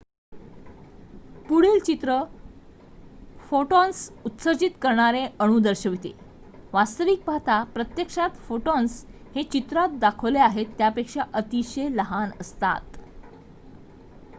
पुढील चित्र फोटॉन्स उत्सर्जित करणारे अणू दर्शविते वास्तविक पाहता प्रत्यक्षात फोटॉन्स हे चित्रात दाखविले आहेत त्यापेक्षा अतिशय लहान असतात